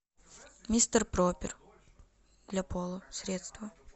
мистер пропер для пола средство